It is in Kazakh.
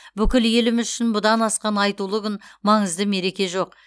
бүкіл еліміз үшін бұдан асқан айтулы күн маңызды мереке жоқ